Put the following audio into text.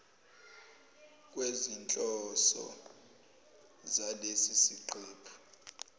kwezinhloso zalesi siqephu